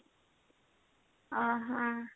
ଓ ହୋ